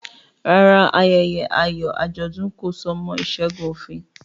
Rárá, ayẹyẹ ayọ̀ Adigun kò so mọ́ ìṣẹ́gun òfin